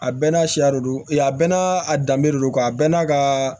A bɛɛ n'a siya lodon e a bɛɛ n'a danbe don a bɛɛ n'a ka